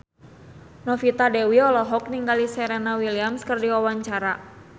Novita Dewi olohok ningali Serena Williams keur diwawancara